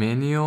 Menijo,